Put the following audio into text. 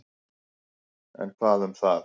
En hvað um það.